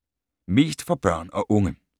Mest for børn og unge: